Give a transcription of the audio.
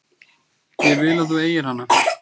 Ég vil að þú eigir hana.